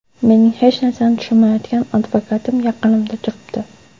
Mening hech narsani tushunmayotgan advokatim yaqinimda turibdi.